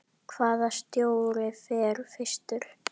Hvaða stjóri fer fyrstur?